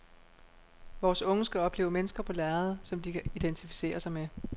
Vores unge skal opleve mennesker på lærredet, som de kan identificere sig med.